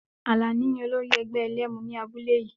Alani ni olórí ẹgbẹ́ ẹlẹ́mu ní abúlé yìí.